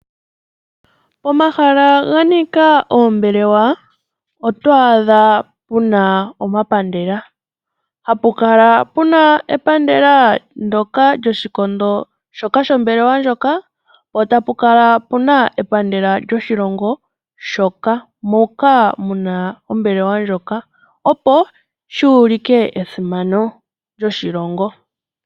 Omahala ga nika oombelewa oto adha pu na omapandela. Ohapu kala pu na epandela lyoshikondo shombelewa ndjoka, po tapu kala epandela lyoshilongo shoka opo li ulike esimano lyoshilongo.